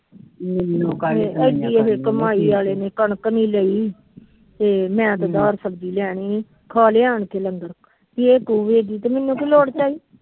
ਮੈਨੂੰ ਇਨੀ ਕਮਾਈ ਆਲੇ ਨੇ ਕਣਕ ਨੀ ਲਈ ਮੈ ਤੇ ਅਧਾਰ ਸਬਜੀ ਲੈਣੀ ਖਾਲੇ ਆਣ ਕੇ ਲੰਗਰ ਮੈਨੂੰ ਮੈਨੂੰ ਕੀ ਲੋੜ ਪਈ।